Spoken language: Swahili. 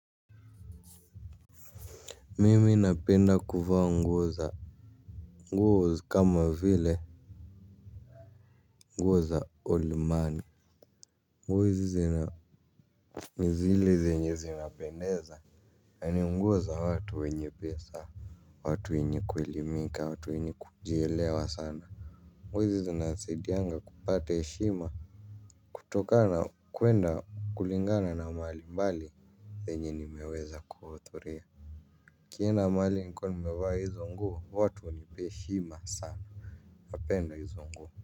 Mimi napenda kuvaa nguo za nguo kama vile nguo za olimani. Nguo hizi zina ni zile zenye zinapendeza. Yaani nguo za watu wenye pesa. Watu wenye kuelimika watu wenye kujielewa sana. Nguo hizi zinasadianga kupate heshima. Kutokana kwenda kulingana na mahali pale penye nimeweza kuhuthuria. Nikienda mahali nikiwa nimevaa hizo nguo watu hunipa heshima sana. Napenda hizo nguo.